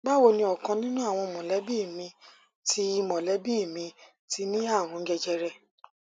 báwo ni ọkan nínú àwọn mọlẹbí mi ti mọlẹbí mi ti ní àrùn jẹjẹrẹ